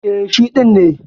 E, shi ɗin ne.